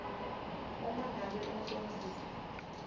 uma ngabe umcondzisi